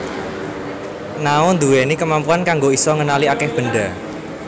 Nao ndhuwèni kemampuan kanggo isa ngenali akèh benda